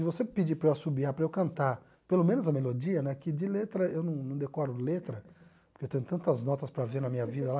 Se você pedir para eu assobiar, para eu cantar, pelo menos a melodia né, que de letra eu não não decoro letra, porque eu tenho tantas notas para ver na minha vida lá